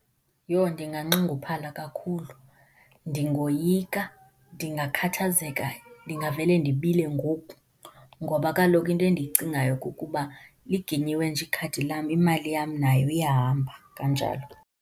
Yoh ndinganxunguphala kakhulu, ndingoyika, ndingakhathazeka, ndingavele ndibile ngoku. Ngoba kaloku into endiyicingayo kukuba liginyiwe nje ikhadi lam imali yam nayo iyahamba kanjalo.